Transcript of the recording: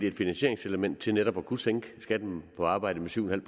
et finansieringselement til netop at kunne sænke skatten på arbejde med syv